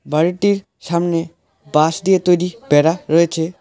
বাড়িটির সামনে বাঁশ দিয়ে তৈরি বেড়া রয়েছে।